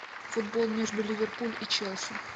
футбол между ливерпуль и челси